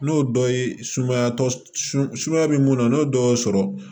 N'o dɔ ye sumaya tɔ sumaya bɛ mun na n'o dɔ y'o sɔrɔ